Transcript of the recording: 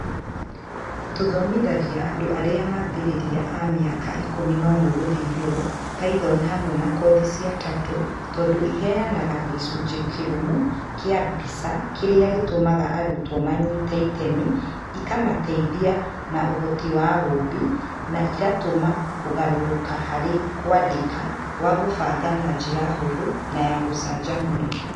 Tũthomithagia andũ arĩa mambĩrĩria a mĩaka 11+ Python hamwe na kothi cia Turtle tondũ ĩheanaga gĩcunjĩ kĩrũmu kĩa mbica kĩrĩa gĩtũmaga arutwo manyite itemi, ĩkamateithia na ũhoti wa wũmbi, na ĩgatũma kũgarũrũka harĩ kwandĩka gwa kũbanga na njĩra hũthũ na ya gũcanjamũra.